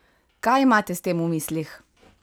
Kaj imate s tem v mislih?